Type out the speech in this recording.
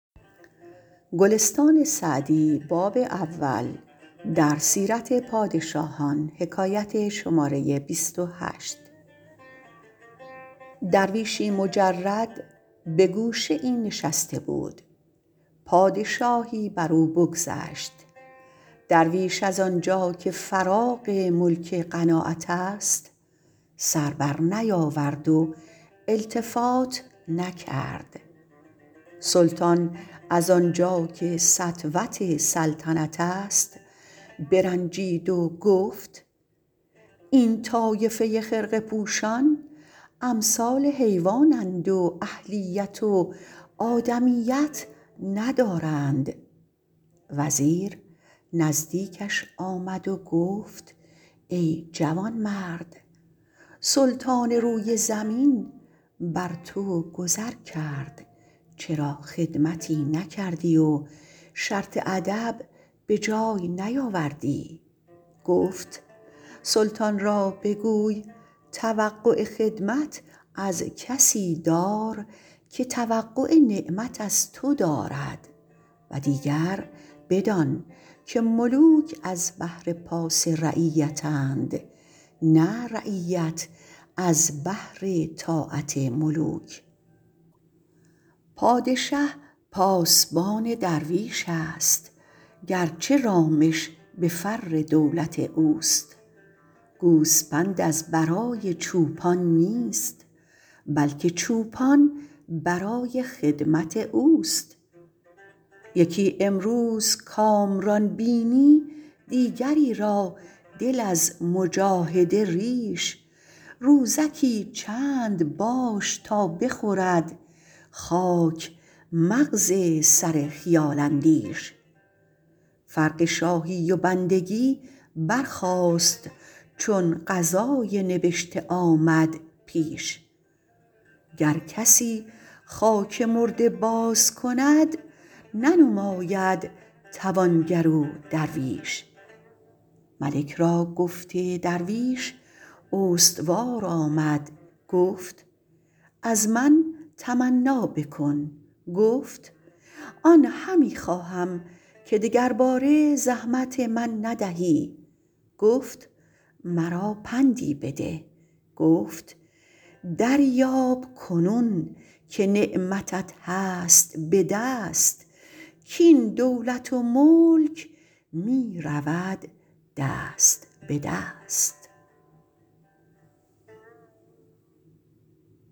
درویشی مجرد به گوشه ای نشسته بود پادشاهی بر او بگذشت درویش از آنجا که فراغ ملک قناعت است سر بر نیاورد و التفات نکرد سلطان از آنجا که سطوت سلطنت است برنجید و گفت این طایفه خرقه پوشان امثال حیوان اند و اهلیت و آدمیت ندارند وزیر نزدیکش آمد و گفت ای جوانمرد سلطان روی زمین بر تو گذر کرد چرا خدمتی نکردی و شرط ادب به جای نیاوردی گفت سلطان را بگوی توقع خدمت از کسی دار که توقع نعمت از تو دارد و دیگر بدان که ملوک از بهر پاس رعیت اند نه رعیت از بهر طاعت ملوک پادشه پاسبان درویش است گرچه رامش به فر دولت اوست گوسپند از برای چوپان نیست بلکه چوپان برای خدمت اوست یکی امروز کامران بینی دیگری را دل از مجاهده ریش روزکی چند باش تا بخورد خاک مغز سر خیال اندیش فرق شاهی و بندگی برخاست چون قضای نبشته آمد پیش گر کسی خاک مرده باز کند ننماید توانگر و درویش ملک را گفت درویش استوار آمد گفت از من تمنا بکن گفت آن همی خواهم که دگرباره زحمت من ندهی گفت مرا پندی بده گفت دریاب کنون که نعمتت هست به دست کاین دولت و ملک می رود دست به دست